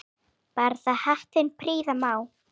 Barða hattinn prýða má.